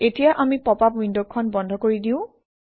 এতিয়া আমি পপআপ উইণ্ডখন বন্ধ কৰি দিওঁ